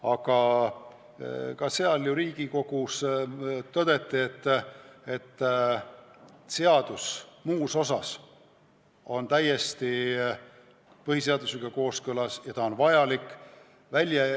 Aga siis ju Riigikogus tõdeti, et seadus muus osas on täiesti põhiseadusega kooskõlas ja igati vajalik.